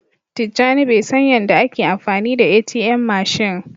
Tijani Bai san Yan da a ke amfani ATM mashin.